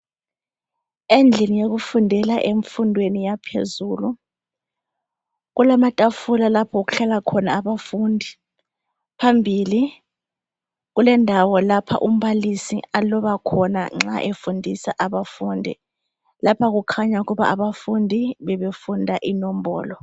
Endlini yokufundela emfundweni yaphezulu. Kulamatafula lapho okuhlala khona abafundi. Phambili kulendawo lapha umbalisi aloba khona nxa efundisa abafundi. Lapha kukhanya ukuba abafundi bebefunda inombolo.